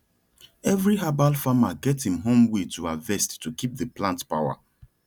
every herbal farmer get im own way to harvest to keep the plant power